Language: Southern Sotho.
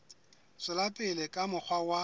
tswela pele ka mokgwa wa